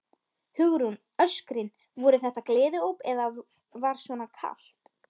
Hugrún: Öskrin, voru þetta gleðióp eða var svona kalt?